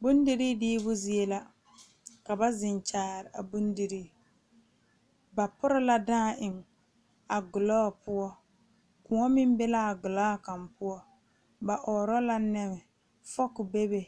Bondire diimo zie la ka ba zeŋ Kyaara a bondire ba pure la dãã eŋ a gɔlɔ poɔ kõɔ meŋ be la a gɔlɔ kaŋa poɔ ba ɔɔrɔ la neme fok bebe